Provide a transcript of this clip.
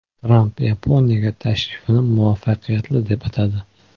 Tramp Yaponiyaga tashrifini muvaffaqiyatli deb atadi.